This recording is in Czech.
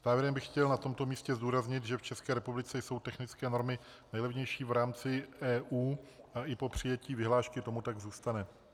Závěrem bych chtěl na tomto místě zdůraznit, že v České republice jsou technické normy nejlevnější v rámci EU a i po přijetí vyhlášky tomu tak zůstane.